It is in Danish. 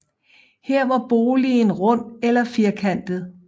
Her var boligen rund eller firkantet